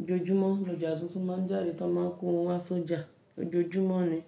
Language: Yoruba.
Ojoojúmọ́ ni ọjà tuntun má ń jáde tan mọ́n kọ wọn wa sọ́jà. Ojoojúmọ́ ni.